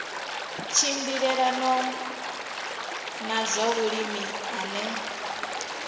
tshimbilelanaho na zwa vhulimi ane